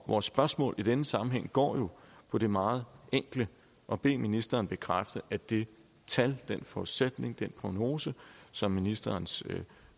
vores spørgsmål i denne sammenhæng går jo på det meget enkle at bede ministeren bekræfte at det tal den forudsætning den prognose som ministerens